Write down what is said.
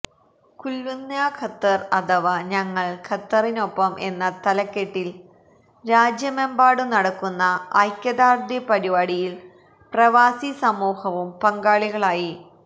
കുല്ലുനാ Qatar അഥവാ ഞങ്ങള് ഖത്തറിനൊപ്പം എന്ന തലക്കെട്ടില് രാജ്യമെമ്പാടും നടക്കുന്ന ഐക്യദാര്ഢ്യ പരിപാടിയില് പ്രവാസി സമൂഹവും പങ്കാളികളായി